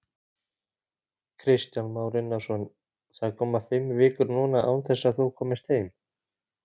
Kristján Már Unnarsson:: Það koma fimm vikur núna án þess að þú komist heim?